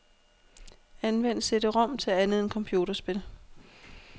Anvend cd-rom til andet end computerspil.